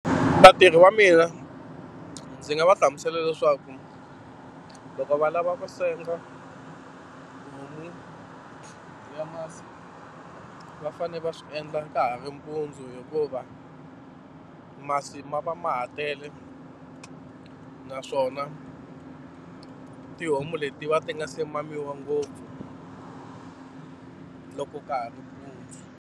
Vatirhi va mina ndzi nga va hlamusela leswaku loko va lava ku senga homu ya masi va fanele va swi endla ka ha ri mpundzu hikuva masi ma va ma ha tele naswona tihomu leti va ti nga se mamiwa ngopfu loko ka ha ri mpundzu.